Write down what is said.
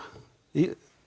í